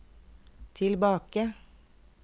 tilbake